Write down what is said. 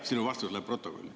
Sinu vastus läheb protokolli.